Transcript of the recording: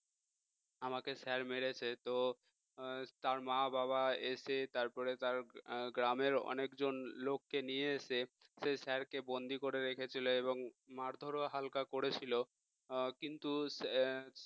আমাকে sir মেরেছে তো তার মা বাবা এসে তারপরে তার গ্রামের অনেকজন লোককে নিয়ে এসে সে sir কে বন্দী করে রেখে চলে এবং মারধরও হালকা করেছিল কিন্তু